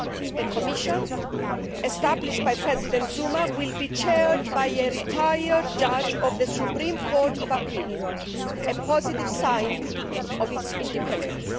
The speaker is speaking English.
The Commission established by President Zuma will be chaired by a retired judge of the Supreme Court of Appeal, a positive sign of its independence.